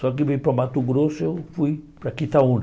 Só que em vez para o Mato Grosso, eu fui para Quitaúna.